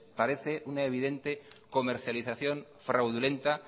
parece una evidente comercialización fraudulenta